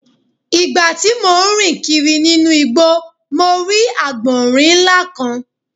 Ìgbà tí mo ń rìn kiri nínú mo rí àgbọ̀rín ńlá kan.